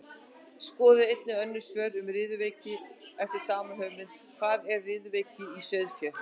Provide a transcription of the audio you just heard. Skoðið einnig önnur svör um riðuveiki eftir sama höfund: Hvað er riðuveiki í sauðfé?